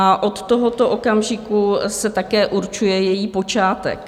A od tohoto okamžiku se také určuje její počátek.